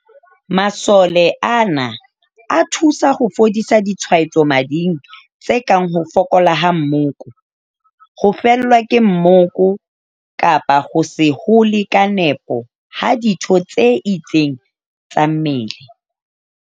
Masole ana, a thusa ho fodisa ditshwaetso mading tse kang ho fokola ha moko, ho fellwa ke moko kapa ho se hole ka nepo ha ditho tse itseng tsa mmele.